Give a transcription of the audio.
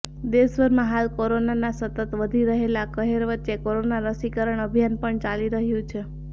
દેશભરમાં હાલ કોરોનાના સતત વધી રહેલા કહેર વચ્ચે કોરોના રસીકરણ અભિયાન પણ ચાલી રહ્યું છે